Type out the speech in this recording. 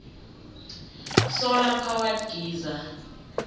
solar powered geyser